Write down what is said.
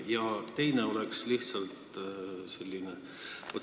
Ja teine küsimus oleks selline.